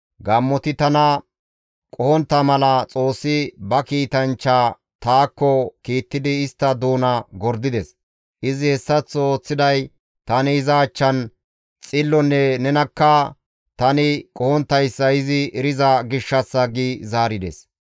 Gaammoti tana qohontta mala Xoossi ba kiitanchcha taakko kiittidi istta doona gordides; izi hessaththo ooththiday tani iza achchan xillonne nenakka tani qohonttayssa izi eriza gishshassa» gi zaarides.